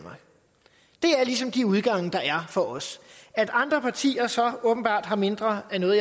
er ligesom de udgange der er for os at andre partier så åbenbart har mindre af noget